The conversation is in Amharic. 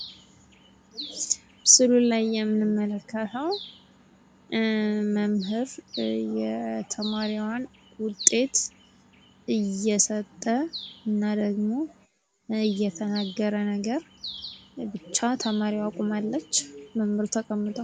በምስሉ ላይ የምንመለከተው መምህር የተማሪዋን ውጤት እየሰጠ እና ደግሞ እየተናገረ ነገር ሲሆን ፤ ብቻ ተማሪዋ ቁማለች አስተማሪው ደግሞ ተቀምጧል ።